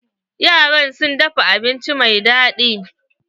Yaran sun dafa abinci mai daɗi.